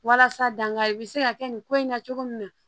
Walasa dankari bɛ se ka kɛ nin ko in na cogo min na